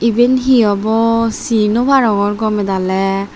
eben he obo ci no parongor gome daly.